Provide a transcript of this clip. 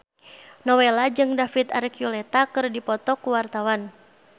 Nowela jeung David Archuletta keur dipoto ku wartawan